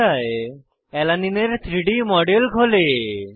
পর্দায় অ্যালানিন এর 3ডি মডেল খোলে